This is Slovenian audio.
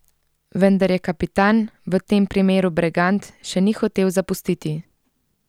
Vendar je kapitan, v tem primeru Bregant, še ni hotel zapustiti.